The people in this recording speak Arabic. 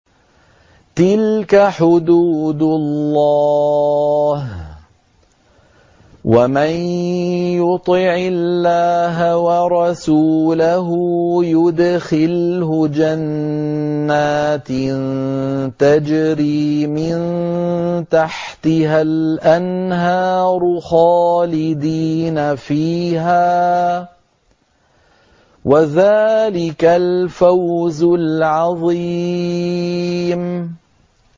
تِلْكَ حُدُودُ اللَّهِ ۚ وَمَن يُطِعِ اللَّهَ وَرَسُولَهُ يُدْخِلْهُ جَنَّاتٍ تَجْرِي مِن تَحْتِهَا الْأَنْهَارُ خَالِدِينَ فِيهَا ۚ وَذَٰلِكَ الْفَوْزُ الْعَظِيمُ